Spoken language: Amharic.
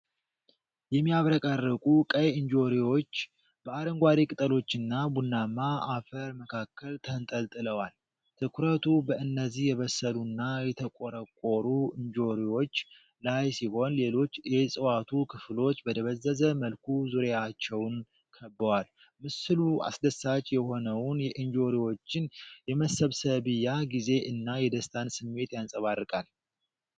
የሚያብረቀርቁ ቀይ እንጆሪዎች በአረንጓዴ ቅጠሎችና ቡናማ አፈር መካከል ተንጠልጥለዋል። ትኩረቱ በእነዚህ የበሰሉና የተቆረቆሩ እንጆሪዎች ላይ ሲሆን ሌሎች የዕፅዋቱ ክፍሎች በደበዘዘ መልኩ ዙሪያቸውን ከበዋል። ምስሉ አስደሳች የሆነውን የእንጆሪዎችን የመሰብሰቢያ ጊዜ እና የደስታን ስሜት ያንፀባርቃል።